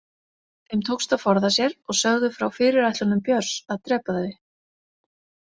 Þeim tókst að forða sér og sögðu frá fyrirætlunum Björns að drepa þau.